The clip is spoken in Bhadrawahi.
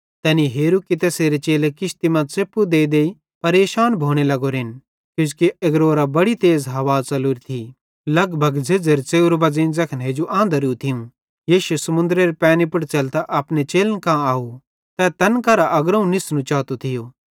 तैनी हेरू कि तैसेरे चेले किश्ती मां च़ेप्पू देईदेई परेशान भोने लग्गोरेन किजोकि एग्रोवरां बड़ी तेज़ हवा च़लोरी थी लगभग झ़ेज़्झ़ेरे च़ेव्रे बज़ेई ज़ैखन हेजू आंधरू थियूं यीशु समुन्दरेरे पैनी पुड़ च़ेलतां अपने चेलन कां आव तै तैन केरां अग्रोवं निस्नू चातो थियो